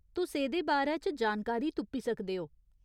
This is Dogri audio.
तुस एह्‌दे बारै च जानकारी तुप्पी सकदे ओ।